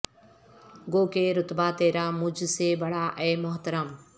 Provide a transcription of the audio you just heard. گو کہ رتبہ ترا مجھ سے بڑا اے محترم